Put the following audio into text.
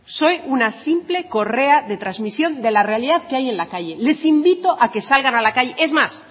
soy una simple correa de transmisión de la realidad que hay en la calle les invito a que salgan a la calle es más